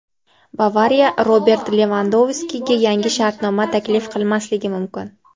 "Bavariya" Robert Levandovskiga yangi shartnoma taklif qilmasligi mumkin.